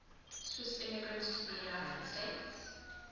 swiss immigrants to the united states